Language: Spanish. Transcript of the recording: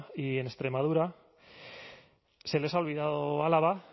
y en extremadura se les ha olvidado álava